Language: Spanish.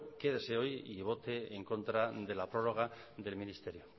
quédese hoy y vote en contra de la prórroga del ministerio